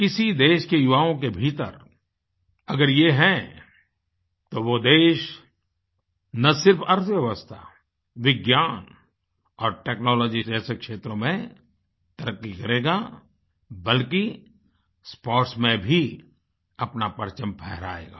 किसी देश के युवाओं के भीतर अगर ये हैं तो वो देश न सिर्फ अर्थव्यवस्था विज्ञान और technologyजैसे क्षेत्रों में तरक्की करेगा बल्कि sportsमें भी अपना परचम फहराएगा